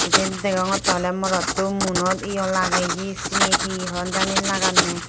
iben degongottey oley morotto muanot yo lageye hi syeni hi hon jani laganney.